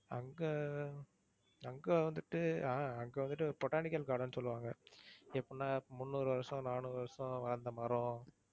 அங்க அங்க வந்துட்டு அஹ் அங்க வந்துட்டு ஒரு botanical garden ன்னு சொல்லுவாங்க. எப்படின்னா முந்நூறு வருஷம், நானூறு வருஷம் வாழ்ந்த மரம்